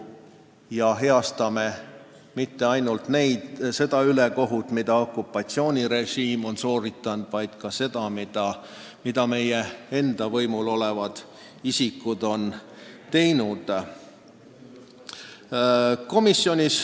Me heastame mitte ainult selle ülekohtu, milles on süüdi okupatsioonirežiim, vaid ka selle, mille on korda saatnud meie enda võimul olnud isikud.